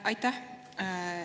Aitäh!